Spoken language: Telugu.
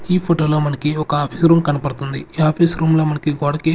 ఈ ఫొటో లో మనకి ఒక ఆఫీస్ రూమ్ కన్పడ్తుంది ఈ ఆఫీస్ రూమ్ లో మనకి గోడకి--